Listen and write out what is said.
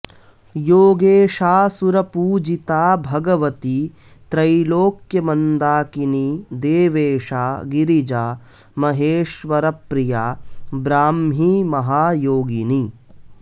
योगेशा सुरपूजिता भगवती त्रैलोक्यमन्दाकिनी देवेशा गिरिजा महेश्वरप्रिया ब्राह्मी महायोगिनी